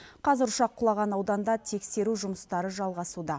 қазір ұшақ құлаған ауданда тексеру жұмыстары жалғасуда